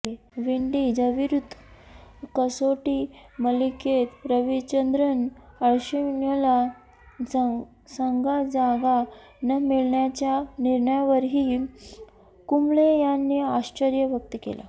विंडीजविरुद्ध कसोटी मालिकेत रविचंद्रन अश्विनला संघात जागा न मिळण्याच्या निर्णयावरही कुंबळे यांनी आश्चर्य व्यक्त केले